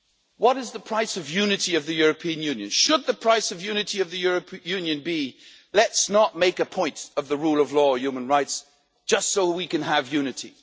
What is the price of unity of the European Union? Should the price of unity of the European Union be let's not make a point of the rule of law and human rights just so we can have unity'?